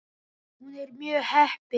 Hún er mjög heppin.